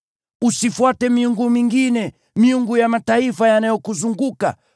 Usifuate miungu mingine, miungu ya mataifa yanayokuzunguka;